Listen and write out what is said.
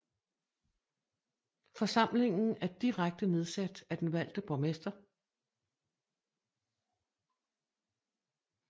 Forsamlingen er direkte nedsat af den valgte borgmester